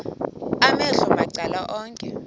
amehlo macala onke